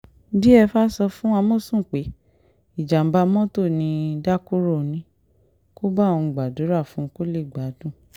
diefah sọ fún àmọ̀sùn pé ìjàmà mọ́tò ni dakurò ní kó bá òun gbàdúrà fún un kó lè gbádùn